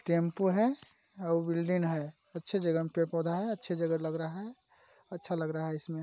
tempo है आऊ building है अच्छे जगह में पेड़ - पौधा है अच्छे जगह लग रहा है अच्छा लग रहा है इसमें--